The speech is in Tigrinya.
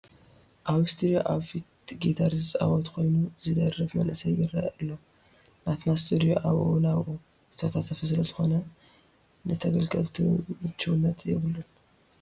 ኣብ ስቱዲዮ ኣብ ፊት ጊታር ዝፀወት ኮይኑ ዝደርፍ መንእሰይ ይርአ ኣሎ፡፡ ናትና ስቱድዮ ኣብኡ ናብኡ ዝተወታተፈ ስለዝኾነ ንተገልገልቱ ምችውነትት የብሉን፡፡